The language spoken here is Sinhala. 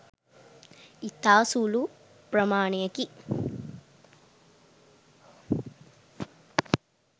ඉතා සුළු ප්‍රමාණයකි.